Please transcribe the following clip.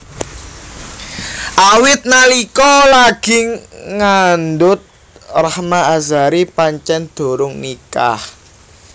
Awit nalika lagi ngandhut Rahma Azhari pancén durung nikah